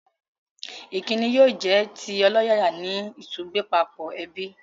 Ìkíni yóò jẹ́ ti ọlọ́yàyà ní ìtúgbẹ́pápọ̀ ẹbí